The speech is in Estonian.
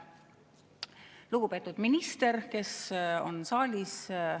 Lugupeetud minister, kes on saalis!